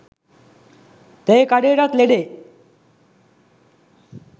තේ කඩේටත් ලෙඩේ